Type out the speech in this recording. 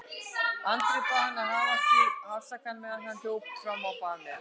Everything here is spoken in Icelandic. Andri bað hann að hafa sig afsakaðan meðan hann hljóp fram á bað með